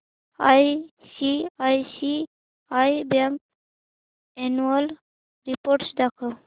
ICICI bank annual report दाखव